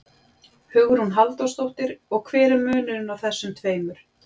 Hugrún Halldórsdóttir: Og hver er munurinn á þessum tveimur?